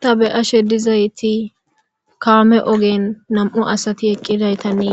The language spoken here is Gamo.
ta be ashe dizayti kaame ogen nam7u asati eqqidaytanne